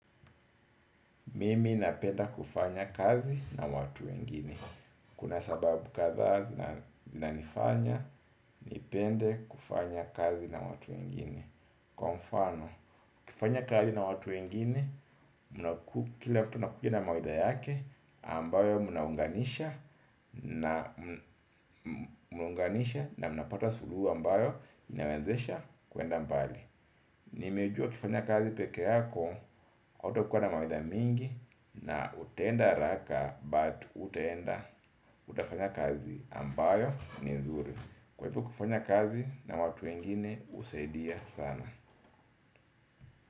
Mimi napenda kufanya kazi na watu wengini. Kuna sababu kadhaa zinanifanya, nipende kufanya kazi na watu wengini. Kwa mfano, ukifanya kazi na watu wengine, kila mtu anakuja na mawaidha yake ambayo munaunganisha na munaunganisha na mnapata suluhu ambayo inawezesha kwenda mbali, nimejua ukifanya kazi pekee yako hautakuwa na mawaidha mingi na utaenda haraka but hutaenda, utafanya kazi ambayo ni nzuri kwa hivo kufanya kazi watu wengine husaidia sana.